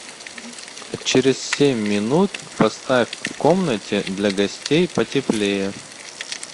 через семь минут поставь в комнате для гостей потеплее